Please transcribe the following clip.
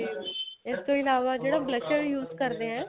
ਇਸ ਤੋਂ ਇਲਾਵਾ ਜਿਹੜਾ blusher use ਕਰਦੇ ਏ